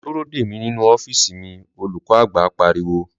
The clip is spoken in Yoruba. Lọ dúró dè mí nínú ọ́fíìsì mi!' olùkọ́-àgbà pariwo